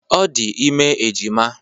Ọ dị ime ejima.